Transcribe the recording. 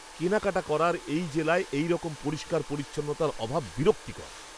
কেনাকাটা করার এই জেলায় এইরকম পরিষ্কার পরিচ্ছন্নতার অভাব বিরক্তিকর!